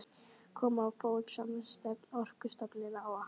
Komið á fót samstarfsnefnd Orkustofnunar og